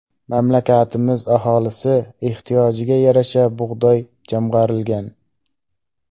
Mamlakatimiz aholisi ehtiyojiga yarasha bug‘doy jamg‘arilgan.